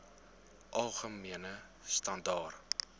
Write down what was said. algemene standaar